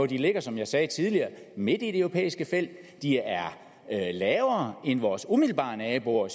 de ligger som jeg sagde tidligere midt i det europæiske felt de er lavere end hos vores umiddelbare naboer